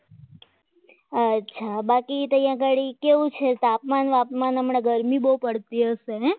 અચ્છા બાકી તૈયાર ગાડી કેવું છે તાપમાન તાપમાન હમણાં ગરમી બહુ પડતી હશે હે?